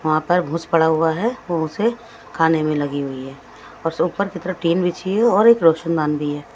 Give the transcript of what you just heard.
वहाँ पर भूस पड़ा हुआ है वो उसे खाने में लगी हुई है और ऊपर की तरफ टीन बिछी है और एक रोशनदान भी है।